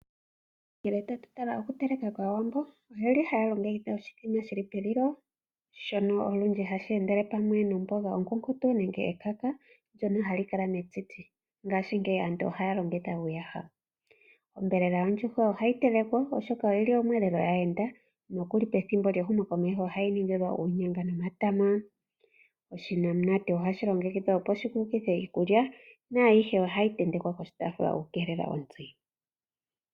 Ngele tatu tala okuteleka kwAawambo oye li haya longekidha oshithima hashi telekelwa pelilo shono olundji hashi endele pamwe nomboga onkunkutu nenge ekaka ndyono hali kala metiti, ihe ngaashingeyi aantu ohaya longitha uuyaha. Onyama yondjuhwa ohayi telekwa, oshoka oyi li omweelelo gwaayenda nokuli pethimbo lyehumokomeho ohayi tetelwa uunyanga nomatama. Onamunamute ohayi longekidhwa opo yi kulukithe iikulya naayihe ohayi tentekwa poshitaafula okukeelela ontsi.